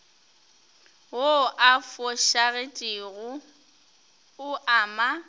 wo o fošagetšego o ama